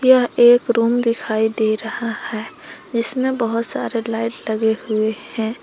यह एक रूम दिखाई दे रहा है जिसमें बहुत सारे लाइट लगे हुए हैं।